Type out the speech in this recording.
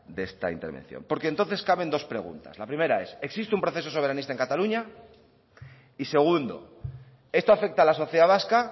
de esta intervención porque entonces caben dos preguntas la primera es existe un proceso soberanista en cataluña y segundo esto afecta a la sociedad vasca